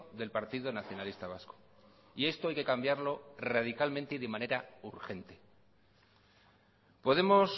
del partido nacionalista vasco y esto hay que cambiarlo radicalmente y de manera urgente podemos